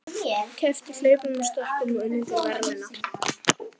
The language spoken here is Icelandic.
Keppt í hlaupum og stökkum og unnið til verðlauna.